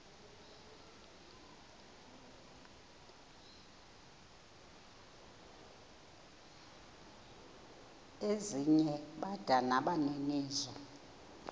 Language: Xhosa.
ezinye bada nabaninizo